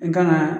An kan ka